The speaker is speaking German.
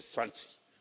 Das waren die SS 20.